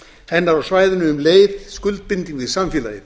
hennar á svæðinu um leið skuldbinding við samfélagið